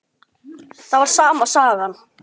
Það var sama sagan.